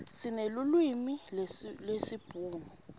sinelulwimi lesibhunu